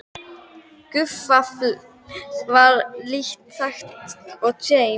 Gufuafl var lítt þekkt og James